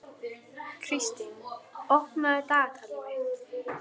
Kristrún, opnaðu dagatalið mitt.